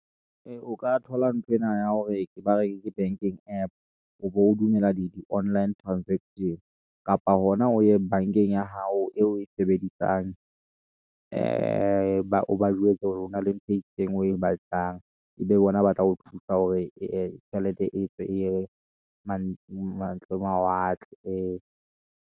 Ee, o ka thola nthwena ya hore ba re ke banking app, o be o dumela le di-online transaction, kapa hona o ye bank-eng ya hao, eo o e sebedisang , ee o ba jwetsa hore hona le ntho e itseng o e batlang. Ebe bona ba tla ho thusa, hore ee tjhelete etswe eye mane mawatle.